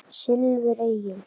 Silfur Egils